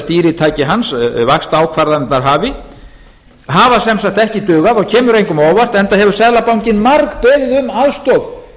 stýritæki hans vaxtaákvarðanirnar hafi hafa sem sagt ekki dugað og kemur engum á óvart enda hefur seðlabankinn margbeðið í aðstoð